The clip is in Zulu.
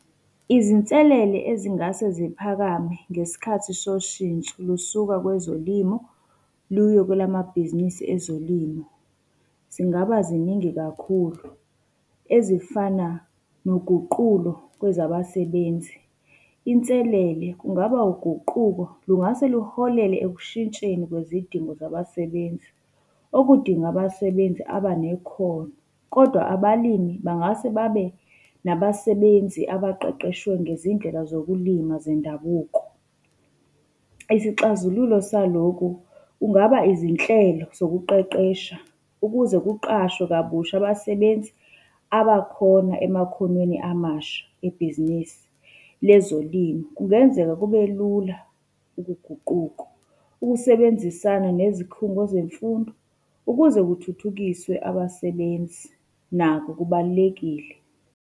Izinselele ezingase ziphakame ngesikhathi soshintsho olusuka kwezolimo luye kwelamabhizinisi ezolimo. Zingaba ziningi kakhulu, ezifana noguqulo kwezabasebenzi. Inselele kungaba uguquko, lungase luholele ekushintsheni kwizidingo zabasebenzi, okudinga abasebenzi abanekhono. Kodwa abalimi bangase babe nabasebenzi abaqeqeshiwe ngezindlela zokulima zendabuko. Isixazululo saloku, kungaba izinhlelo zokuqeqesha ukuze kuqashwe kabusha abasebenzi abakhona emakhonweni amasha ebhizinisini le zolimo. Kungenzeka kube lula ukuguquko. Ukusebenzisana nezikhungo zemfundo ukuze kuthuthukiswe abasebenzi, nakho kubalulekile.